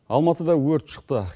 алматыда өрт шықты